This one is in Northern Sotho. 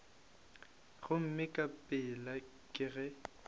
gomme ka pela ke ge